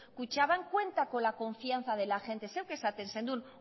kutxabank cuenta con la confianza de la gente zuek esaten zenuten